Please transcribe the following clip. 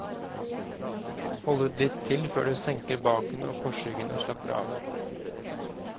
Hold ut litt til før du senker baken og korsryggen og slapper av.